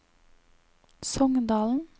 Songdalen